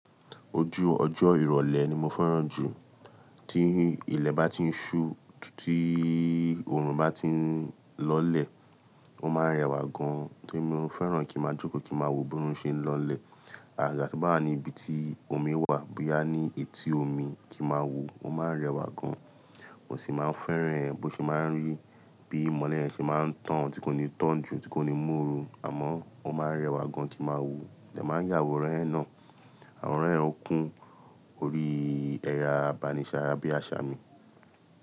Ojú ọjọ́ ìrọ̀lẹ́ ni mo fẹ́ràn jù. Tí ilẹ̀ bá ti ń ṣú, títí oòrùn bá ti ń lọlẹ̀, ó máa ń rẹwà gan-an. Tí mo fẹ́ràn kí màá jókòó, kí màá wo bí òórùn ṣe ń lọlẹ̀. Àgaga tí bá ní ibi tí omi wà bóyá ní etí omi kí màá wo, ó máa ń rẹwà gan. Mo sì máa ń fẹ́ràn ẹ bí ó ṣe máa ń rí, bí ìmọ́lẹ̀ ṣe máa ń tàn tí kò ní tán jù tí kò ní mú òru àmọ́ ó ma ń rẹ wà gan kin máa wo, mo dẹ̀ yà àwòrán yẹn náà. Àwòrán yẹn okùn orí ẹ e ẹ̀rọ abánisara bí àṣà mi.